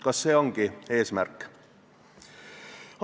Kas see ongi eesmärk?